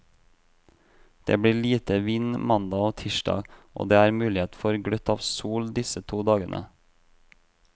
Det blir lite vind mandag og tirsdag, og det er mulighet for gløtt av sol disse to dagene.